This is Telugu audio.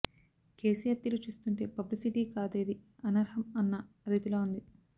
కేసీఆర్ తీరు చూస్తుంటే పబ్లిసిటీకి కాదేదీ అనర్హం అన్న రీతిలో ఉంది